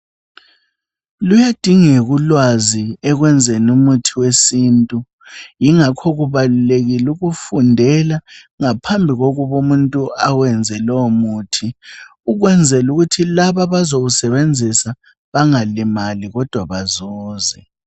Luyadingak' ulwazi ekwenzen' umuthi wesintu. Yingakho kubalulekil' ukufundela ngaphambi kokub' umuntu awenze lowo muthi, ukwenzel' ukuthi lab' abazawusebenzisa bangalimali kodwa bazuze.